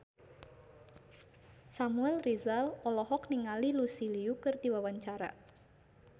Samuel Rizal olohok ningali Lucy Liu keur diwawancara